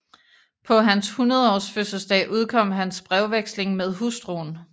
Paa hans Hundredaarsfødselsdag udkom hans Brevveksling med Hustruen